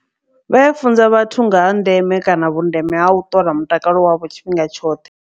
Vha ya funza vhathu nga ha ndeme kana vhundeme ha u ṱola mutakalo wavho tshifhinga tshoṱhe.